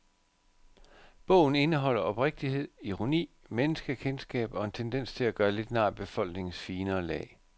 Bogen indeholder oprigtighed, ironi, menneskekendskab og en tendens til at gøre lidt nar af befolkningens finere lag.